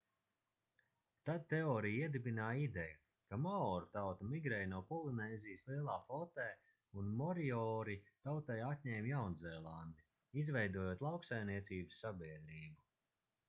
tad teorija iedibināja ideju ka maoru tauta migrēja no polinēzijas lielā flotē un moriori tautai atņēma jaunzēlandi izveidojot lauksaimniecības sabiedrību